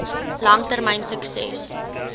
lang termyn sukses